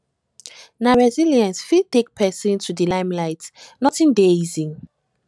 na resilience fit take pesin to di limelight nothing dey easy